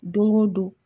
Don o don